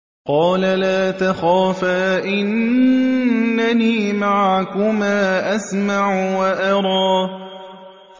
قَالَ لَا تَخَافَا ۖ إِنَّنِي مَعَكُمَا أَسْمَعُ وَأَرَىٰ